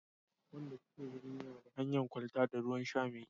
wayanda suke birni na da hanyan kwalta da ruwan sha mai kyau